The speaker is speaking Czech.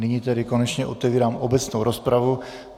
Nyní tedy konečně otevírám obecnou rozpravu.